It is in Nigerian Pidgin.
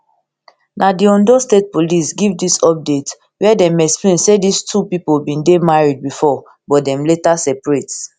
na di ondo state police give dis update wia dem explain say dis two pipo bin dey bin dey married bifor but dem later separate